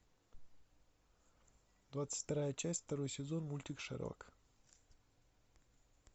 двадцать вторая часть второй сезон мультик шерлок